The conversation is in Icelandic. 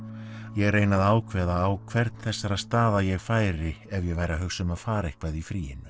ég reyni að ákveða á hvern þessara staða ég færi ef ég væri að hugsa um að fara eitthvað í fríinu